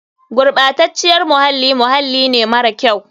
Gurɓaceciyar muhalli muhalli ne mara kyau.